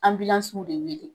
An bi anbilansiw wele